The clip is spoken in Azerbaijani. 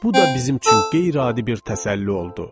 Bu da bizim üçün qeyri-adi bir təsəlli oldu.